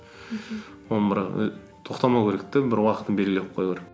оны бірақ і тоқтамау керек те бір уақытын белгілеп қою